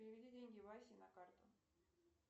переведи деньги васе на карту